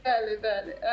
Bəli, bəli.